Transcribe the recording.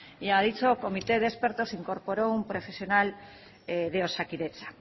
y a dicho comité de expertos se incorporó un profesional de osakidetza